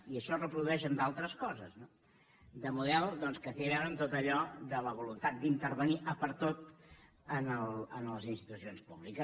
i això es reprodueix en d’altres coses no de model doncs que té a veure amb tot allò de la voluntat d’intervenir a per tot en les institucions públiques